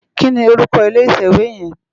Kini órúkò ilé itèwé yèn?